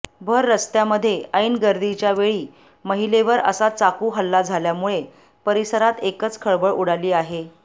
भर रस्त्यामध्ये ऐन गर्दीच्या वेळी महिलेवर असा चाकू हल्ला झाल्यामुळे परिसरात एकच खळबळ उडाली आहे